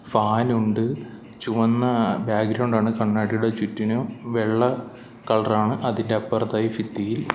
Fan ഉണ്ട് ചുവന്ന background ആണ് കണ്ണാടിയുടെ ചുറ്റിനും വെള്ള കളർ ആണ് അതിനപ്പുറത്തായി ഫിത്തിയിൽ.